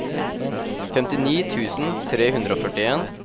femtini tusen tre hundre og førtien